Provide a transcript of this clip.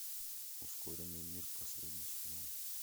ускоренный мир последний сезон